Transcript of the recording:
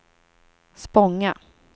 Spånga